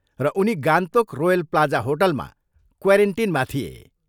र उनी Gangtok royal plaza होटलमा क्वारेन्टिनमा थिए।